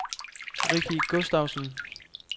Ricky Gustavsen